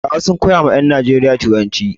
Turawa sun koya wa ƴan Najeriya turanci.